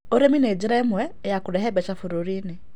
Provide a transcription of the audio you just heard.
Ũrĩmĩ nĩ nĩra ĩmwe ya kũrehe mbeca bũrũrĩ-ĩnĩ